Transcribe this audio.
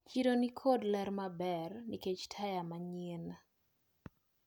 Chiro nikod ler maber nikech taya manyien.